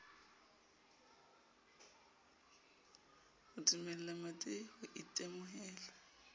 ho dumella mmadi ho itemohela